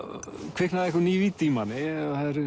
kviknaði einhver ný vídd í manni